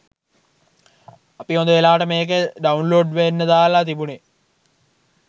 අපි හොඳ වෙලාවට මේක ඩවුන්ලෝඩ් වෙන්න දාල තිබුනේ